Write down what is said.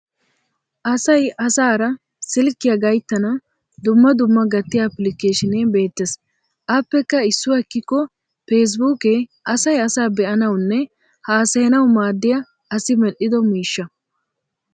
Asay asaara silkkiya gayttana dumma dumma gattiya applikeeshinee beettes. Aappekka isuwa ekkikko fesbuukee asay asaa be'anawunne haasayanaw maaddiya asi medhdhido miishsha.